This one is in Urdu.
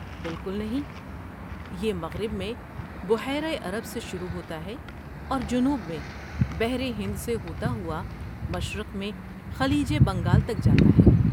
بالکل نہیں، یہ مغرب میں بحیرہ عرب سے شروع ہوتا ہے اور جنوب میں بحر ہند سے ہوتا ہوا مشرق میں خلیج بنگال تک جاتا ہے۔